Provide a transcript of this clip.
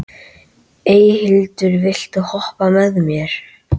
Eyhildur, viltu hoppa með mér?